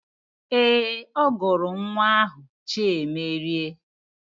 Ee, ọ gụrụ nwa ahụ Chiemerie